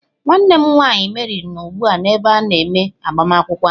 Nwanne m nwaanyị Mary nọ ugbu a n'ebe a na-eme agbamakwụkwọ ahụ.